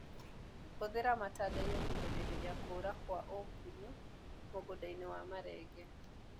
Hũthĩra matandaiyo kũgirĩrĩria kũra kwa ũgunyu mũgũndainĩ wa marenge.